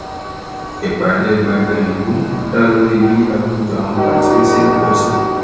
ìpàdé gbọngàn ìlú dá lórí bí àkójọ àwọn pàǹtírí ṣe ń pọ síi